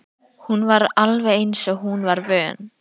Hún var alveg eins og hún var vön.